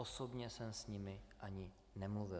Osobně jsem s nimi ani nemluvil.